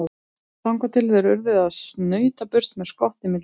Þangað til þeir urðu að snauta burt með skottið milli lappanna.